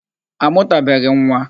A mụtabeghị m nwa.